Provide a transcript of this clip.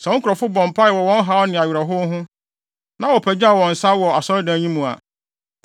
sɛ wo nkurɔfo bɔ mpae wɔ wɔn haw ne awerɛhow ho, na wɔpagyaw wɔn nsa wɔ asɔredan yi mu a,